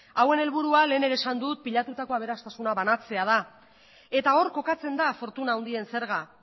hauen helburua lehen ere esan dut pilatutako aberastasuna banatzea da eta hor kokatzen da fortuna handien zerga